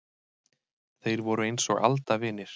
Þeir voru eins og aldavinir.